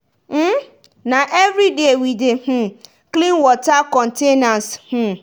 na everyday we dey um clean water containers um